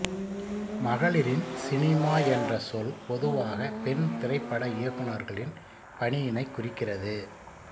மகளிரின் சினிமா என்ற சொல் பொதுவாக பெண் திரைப்பட இயக்குனர்களின் பணியினைக் குறிக்கிறது